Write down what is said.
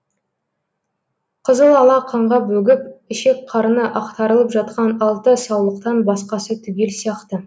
қызылала қанға бөгіп ішек қарны ақтарылып жатқан алты саулықтан басқасы түгел сияқты